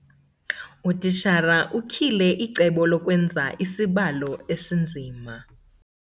Utitshala utyhile icebo lokwenza isibalo esinzima.